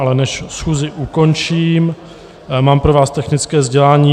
Ale než schůzi ukončím, mám pro vás technické sdělení.